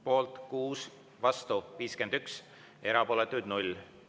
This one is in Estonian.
Poolt on 6, vastu 51, erapooletuid on 0.